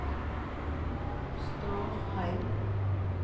Stårheim